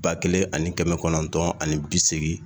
Ba kelen ani kɛmɛ kɔnɔntɔn ani bi seegin